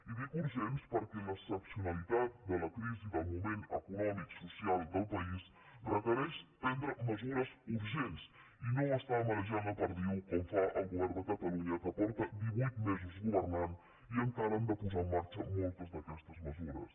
i dic urgents perquè l’excepcionalitat de la crisi del moment econòmic social del país requereix prendre mesures urgents i no estar marejant la perdiu com fa el govern de catalunya que fa divuit mesos que governa i encara ha de posar en marxa moltes d’aquestes mesures